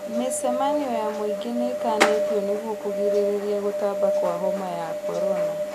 Mĩcemanio ya mũingĩ nĩĩkanĩtio nĩguo kũgirĩrĩria gũtamba kwa homa ya korona